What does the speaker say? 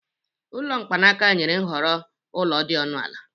Ụlọ mkpanaka nyere nhọrọ ụlọ dị ọnụ ala.